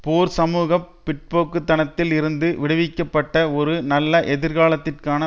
போர் சமூக பிற்போக்குத்தனத்தில் இருந்து விடுவிக்கப்பட்ட ஒரு நல்ல எதிர்காலத்திற்கான